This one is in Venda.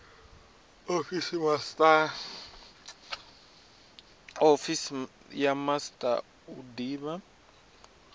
ofisi ya master u divha